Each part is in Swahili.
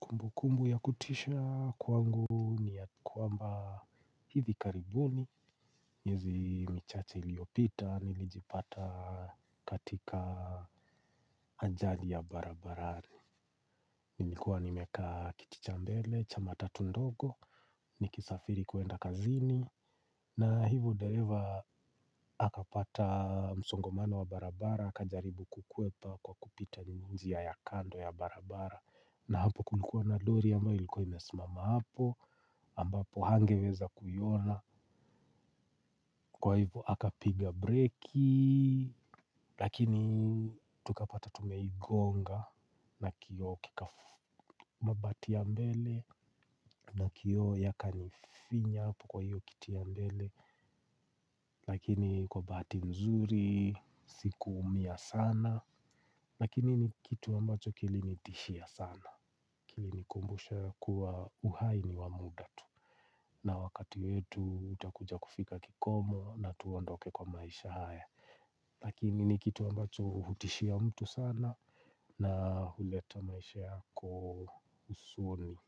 Kumbukumbu ya kutisha kwangu ni ya kwamba hivi karibuni. Miezi michache iliyopita nilijipata katika ajali ya barabarani. Nilikuwa nimekaa kiti cha mbele, cha matatu ndogo, nikisafiri kuenda kazini. Na hivyo dereva akapata msongomano wa barabara, akajaribu kukwepa kwa kupita njia ya kando ya barabara. Na hapo kulikuwa na lori ambayo ilikuwa imesimama hapo ambapo hangeweza kuiona. Kwa hivyo akapiga breki. Lakini tukapata tumegonga. Na kioo kika mabati ya mbele na kioo yakanifinya kwa hio kiti ya mbele. Lakini kwa bahati nzuri sikuumia sana. Lakini ni kitu ambacho kilinitishia sana. Kilinikumbusha kuwa uhai ni wa muda tu. Na wakati wetu utakuja kufika kikomo na tuondoke kwa maisha haya. Lakini ni kitu ambacho hutishia mtu sana. Na huleta maisha yako usoni.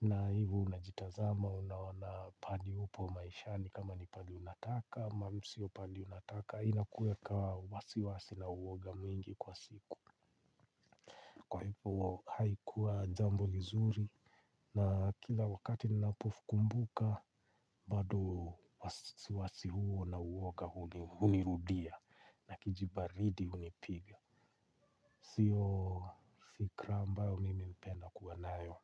Na hivyo unajitazama unaona pahali upo maisha ni kama ni pahali unataka ama sio pahali unataka inakuweka wasi wasi na uwoga mwingi kwa siku. Kwa hivyo haikuwa jambo nzuri. Na kila wakati ninapokumbuka bado wasiwasi huo na uwoga hunirudia. Na kijibaridi hunipiga. Sio si fikra ambayo mimi hupenda kuwa nayo.